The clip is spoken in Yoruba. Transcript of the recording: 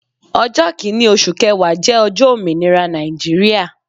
Ọjọ́ kinni oṣù kẹwa jẹ ọjọ́ ominira Nàìjíríà.